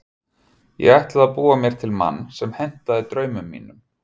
Ég ætlaði að búa mér til mann sem hentaði draumum mínum.